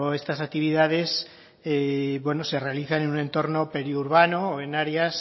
estas actividades bueno se realizan en un entorno periurbano o en áreas